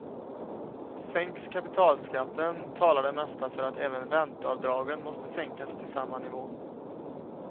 Sänks kapitalskatten talar det mesta för att även ränteavdragen måste sänkas till samma nivå.